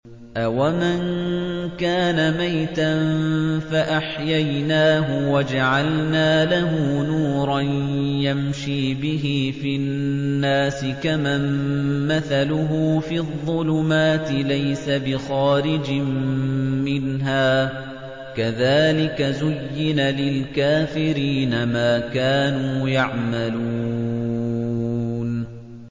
أَوَمَن كَانَ مَيْتًا فَأَحْيَيْنَاهُ وَجَعَلْنَا لَهُ نُورًا يَمْشِي بِهِ فِي النَّاسِ كَمَن مَّثَلُهُ فِي الظُّلُمَاتِ لَيْسَ بِخَارِجٍ مِّنْهَا ۚ كَذَٰلِكَ زُيِّنَ لِلْكَافِرِينَ مَا كَانُوا يَعْمَلُونَ